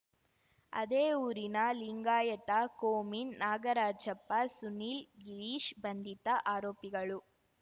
ಅದೇ ಊರಿನ ಲಿಂಗಾಯತ ಕೋಮಿನ್ ನಾಗರಾಜಪ್ಪ ಸುನೀಲ್ ಗಿರೀಶ್‌ ಬಂಧಿತ ಆರೋಪಿಗಳು